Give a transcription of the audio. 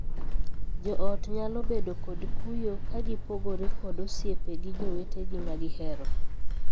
Joot nyalo bedo kod kuyo ka gipogore kod osiepe gi jowetegi ma gihero.